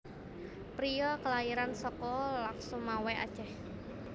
Priya kalairan saka Lhokseumawe Aceh